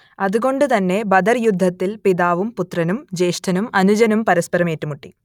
അത് കൊണ്ട് തന്നെ ബദർ യുദ്ധത്തിൽ പിതാവും പുത്രനും ജ്യേഷ്ഠനും അനുജനും പരസ്പരം ഏറ്റുമുട്ടി